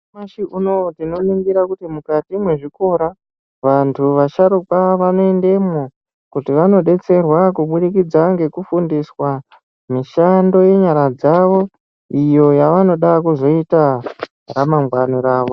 Nyamashi unou tinoringira kuti mukati mwezvikora vanthu vasharukwa vanoendemwo kuti vanodetserwe kubudikidza ngekufundiswa mishando yenyara dzavo iyo yavanoda kuzoita ramangwana ravo.